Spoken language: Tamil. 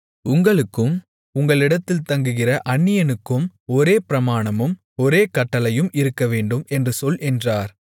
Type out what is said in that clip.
உங்களுக்கும் உங்களிடத்தில் தங்குகிற அந்நியனுக்கும் ஒரே பிரமாணமும் ஒரே கட்டளையும் இருக்கவேண்டும் என்று சொல் என்றார்